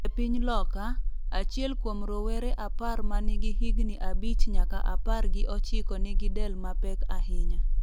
E piny Loka, achiel kuom rowere apar ma nigi higni abich nyaka apar gi ochiko nigi del mapek ahinya.